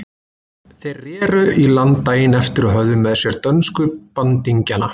Þeir reru í land daginn eftir og höfðu með sér dönsku bandingjana.